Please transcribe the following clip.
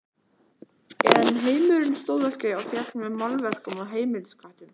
En heimurinn stóð ekki og féll með málverkum og heimilisköttum.